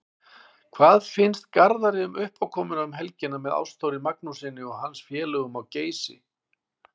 Hvað finnst Garðari um uppákomuna um helgina með Ástþóri Magnússyni og hans félögum á Geysi?